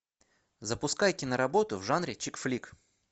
запускай киноработу в жанре чикфлик